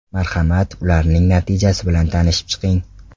Marhamat, ularning natijasi bilan tanishib chiqing.